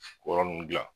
Kɔri nunnu dilan